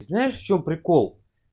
знаешь в чем прикол